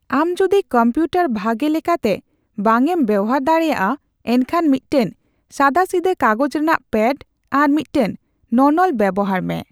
ᱟᱢ ᱡᱩᱫᱤ ᱠᱚᱢᱯᱤᱭᱩᱴᱟᱨ ᱵᱷᱟᱜᱮ ᱞᱮᱠᱟᱛᱮ ᱵᱟᱝ ᱮᱢ ᱵᱮᱣᱦᱟᱨ ᱫᱟᱲᱮᱭᱟᱜᱼᱟ, ᱮᱱᱠᱷᱟᱱ ᱢᱤᱫᱴᱟᱝ ᱥᱟᱫᱟᱥᱤᱫᱟᱹ ᱠᱟᱜᱚᱡᱽ ᱨᱮᱱᱟᱜ ᱯᱮᱰ ᱟᱨ ᱢᱤᱫᱴᱟᱝ ᱱᱚᱱᱚᱞ ᱵᱮᱣᱦᱟᱨ ᱢᱮ ᱾